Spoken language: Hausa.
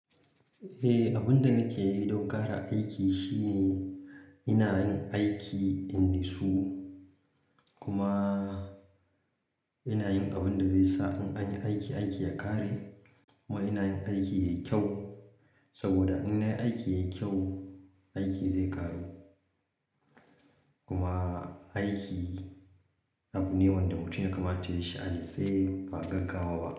Eh, abin da nake yi don ƙara aiki shine ina yin aiki in natsu. Kuma ina yin abin da zai sa in anyi aiki, aiki ya ƙare kuma ina yin aiki yayi kyau. Saboda in nayi aiki yayi kyau, aiki zai ƙaru. Kuma aiki abu ne wanda mutum ya kamata yayi shi a natse ba gaggawa ba.